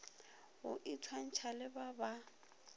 go itshwantšha le ba ba